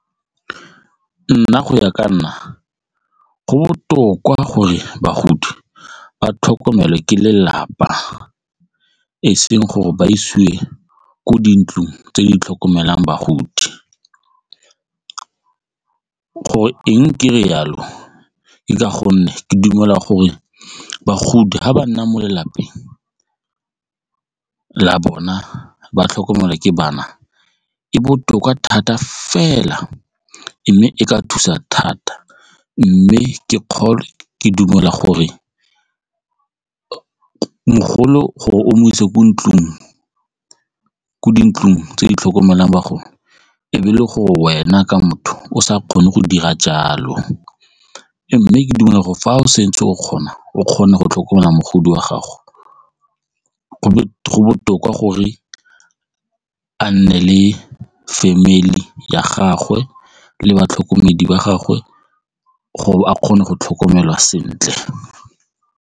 Nna go ya ka nna, go botoka gore bagodi ba tlhokomele ke lelapa e seng gore ba isiwe kwa dintlong tse di tlhokomelang bagodi gore eng ke re jalo? Ke ka gonne ke dumela gore bagodi ga ba nna mo lelapeng la bona ba tlhokomelwa ke bana e botoka thata fela mme e ka thusa thata mme ke kgole ke dumela gore mogolo gore o mo ise ko dintlong tse di tlhokomelang bagodi ebe le go wena ka motho o sa kgone go dira jalo mme ke ditlhokego fa o setse o kgona o kgone go tlhokomela mogodi wa gago go botoka gore a nne le family ya gagwe le batlhokomedi ba gagwe gore a kgone go tlhokomelwa sentle.